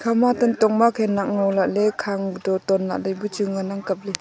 khama tantong ma khanak ngo lahle khang to ton lahle bu chu ngan ang kaple.